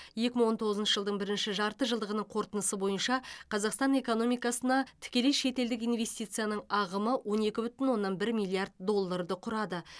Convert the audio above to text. екі мың он тоғызыншы жылдың бірінші жартыжылдығының қорытындысы бойынша қазақстан экономикасына тікелей шетелдік инвестицияның ағымы он екі бүтін оннан бір миллиард долларды құрады